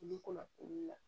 I bɛ kɔnna olu la